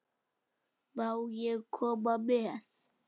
Má ég koma með?